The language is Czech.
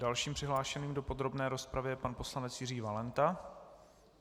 Dalším přihlášeným do podrobné rozpravy je pan poslanec Jiří Valenta.